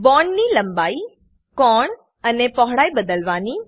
બોન્ડની લંબાઈ કોણ અને પહોળાઈ બદલવાની